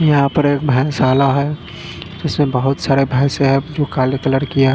यहाँ पर एक भैंस शाला है जिसमे बहुत सारी भैंसे है जो काले कलर की है।